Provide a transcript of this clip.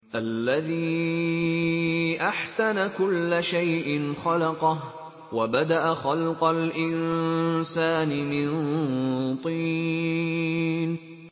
الَّذِي أَحْسَنَ كُلَّ شَيْءٍ خَلَقَهُ ۖ وَبَدَأَ خَلْقَ الْإِنسَانِ مِن طِينٍ